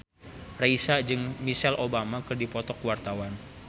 Raisa jeung Michelle Obama keur dipoto ku wartawan